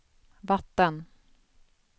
vatten